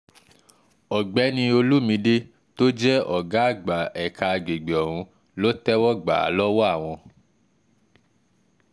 ọ̀gbẹ́ni olùmìde tó jẹ́ ọ̀gá àgbà ẹ̀ka àgbègbè ọ̀hún ló tẹ́wọ́ gbà á lọ́wọ́ àwọn